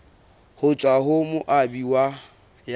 ho tswa ho moabi ya